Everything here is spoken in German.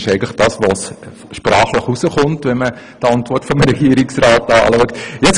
Das ist das, was sprachlich aus der Antwort des Regierungsrates hervorgeht.